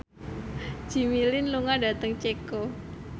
Jimmy Lin lunga dhateng Ceko